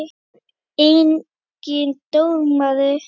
Er enginn dómari?